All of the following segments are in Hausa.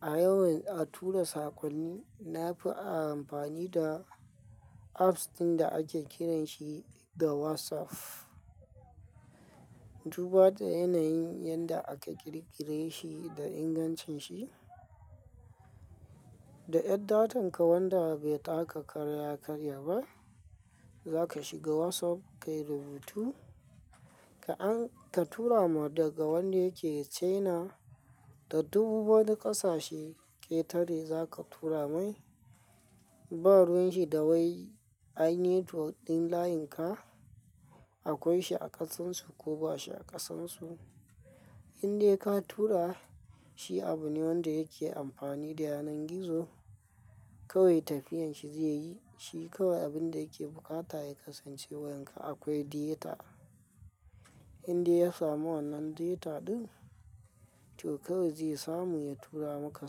A yawan a tura sakonni, na fi amfani da apps ɗin da ake kiranshi da WhatsApp. Duba da yanayin yadda aka ƙirƙire shi da ingancin shi, da ƴan datan ka wanda bai taka kara ya karya ba, za ka shiga WhatsApp ka yi rubutu. Ka an-- ka tura ma daga wanda yake China da duu wani ƙasashe ƙetare za ka tura mai, ba ruwan shi dawai. Ai netwok ɗin layin ka akwai shi a ƙasansu ko ba shi a ƙasansu. Inde ka tura, shi abu ne wanda yake amfani da yanar gizo, kawai tafiyan shi zai yi. Shi kawai abin da yake bukata ya kasance wayanka akwai data. Inde ya samu wannan data ɗin, to kawai zai samu ya tura maka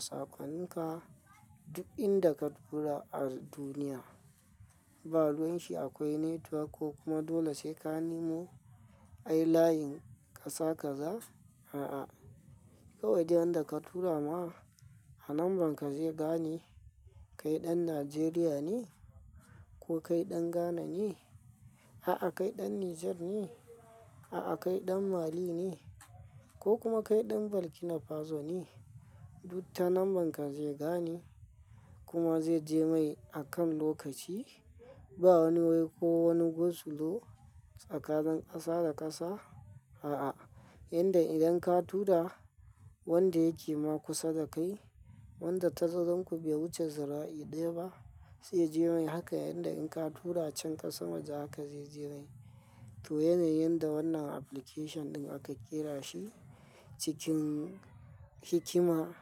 sakon ka duk inda ka tura a duniya. Ba ruwan shi akwai network ko kuma dole sai ka nemo ai layin ƙasa ka za, a'a. Kawai duk yan da ka tura ma a numbern ka zai gane kai ɗan Najeriya ne ko kai ɗan Ghana ne, a'a kai ɗan Niger ne, a'a kai ɗan Mali ne ko kuma kai ɗan Burkina Faso ne. Dukkan numbern ka zai gane kuma zai je mai akan lokaci. Ba wani wai ko wani go slow tsakanin ƙasa da ƙasa, a'a. Yanda idan ka tura wanda yake ma kusa da kai wanda tazazranku bai wuce zira'i ɗaya ba, zai je mai haka yanda in ka tura can ƙasa waje haka zai je mai. To yanayin da wannan application ɗin aka ƙera shi cikin hikima,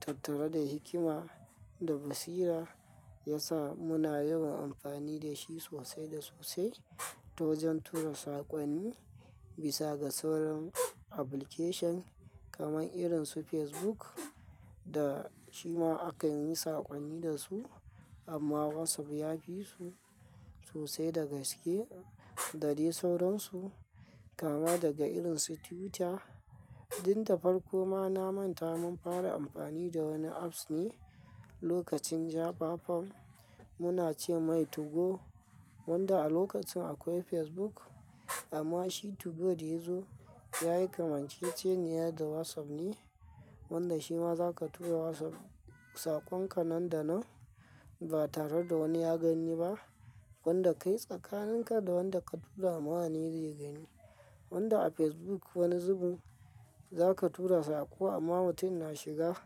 tattare da hikima da basira ya sa muna yawan amfani da shi sosai da sosai. To wajen tura sakonni bisa ga sauran application kamar irin su Facebook da shi ma aka yi sakonni da su amma WhatsApp ya fi su sosai da gaske da dai sauransu. Kama daga irin su Twitter ɗin da farko ma na manta mun fara amfani da wani apps ne lokacin jafafon. Muna ce mai 2go wanda a lokacin akwai Facebook amma shi 2go da yazo ya yi kamar ce ce ne da WhatsApp ne wanda shi ma za ka tura WhatsApp sakon ka nan da nan ba tare da wani ya gani ba. Wanda kai tsakanin ka da wanda ka tura ma ne mawa zai gani. Wanda a Facebook wani zubin za ka tura sako amma mutum na shiga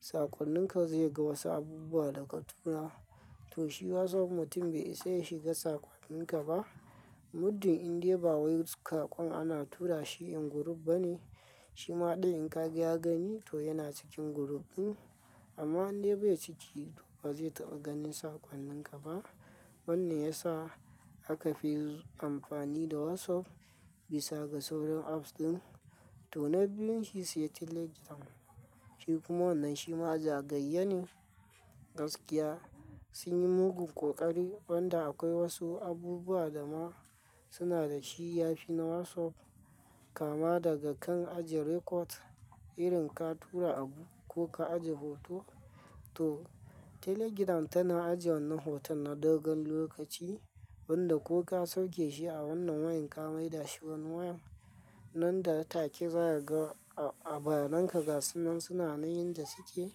sakon nin ka zai ga wasu abubuwa da ka tura. To shi WhatsApp mutum bai isa ya shiga sakonnin ka ba muddin inda ba wai sakon ana tura shi in group bane. Shi ma ɗin in ka gani to yana cikin group ɗin amma inda bai ciki ba zai taɓa ganin sakon ka ba. Wannan ya sa aka fi amfani da WhatsApp bisa ga sauran apps ɗin. To na biyun shi ce Telegram. Shi kuma wannan shi ma jagayyanin gaskiya sun yi mugun ƙoƙari wanda akwai wasu abubuwa da ma suna da shiyafi na WhatsApp kama daga kan ajiye record irin ka tura abu ko ka ajiye hoto. To Telegram tana ajiye wannan hoton na dogon lokaci wanda ko ka sauke shi a wannan wayan ka mai dashi wani wayan nan da take zaga bayananka ga sunan sunan yan da suke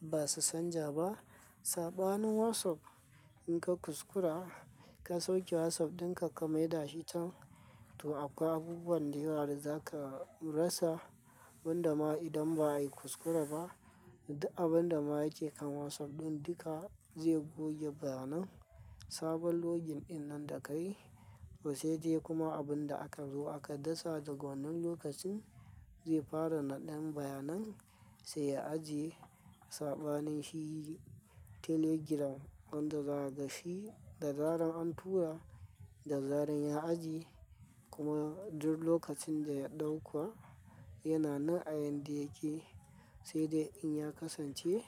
ba su san ja ba. Saɓanin WhatsApp in ka kuskura ka sauke WhatsApp dinka ka mai da shi can to akwai abubuwan da yawa da za ka rasa wanda ma idan ba a yi kuskure ba, duk abin da ma yake kan WhatsApp ɗin duka zai goge bayan nan. Sabon login ɗinnan da ka yi, to se dai kuma abun da aka zo aka dasa daga wannan lokacin zai fara naɗa bayan nan sai ya ajiye. Saɓanin shi Telegram wanda zagashi da zarar an tura da zarar ya ajiye kuma duk lokacin da ya ɗauka yana nan ain da yake sai dai in ya kasance.